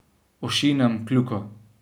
Ošinem kljuko.